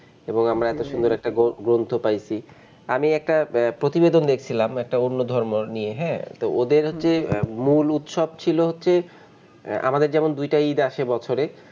এবং আমারা এত সুন্দর একটা গ্রন্থ পাইছি, আমি একটা প্রতিবেদন দেখছিলাম একটা অন্য ধর্মর নিয়ে হ্যাঁ, তো ওদের যে মুল উৎসব ছিল হচ্ছে আহ আমাদের যেমন দুইটা ইদ আসে বছরে,